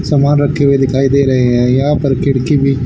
समान रखे हुए दिखाई दे रहे हैं यहां पर खिड़की भी--